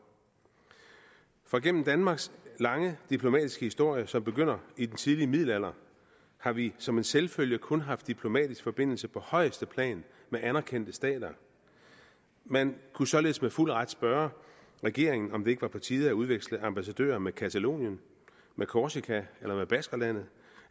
gennem danmarks lange diplomatiske historie som begynder i den tidlige middelalder har vi som en selvfølge kun haft diplomatiske forbindelser på højeste plan med anerkendte stater men kunne således med fuld ret spørge regeringen om det ikke var på tide at udveksle ambassadører med katalonien med korsika eller med baskerlandet